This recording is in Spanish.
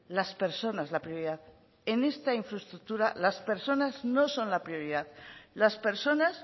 las personas la prioridad en esta infraestructura las personas no son la prioridad las personas